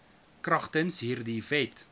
kragtens hierdie wet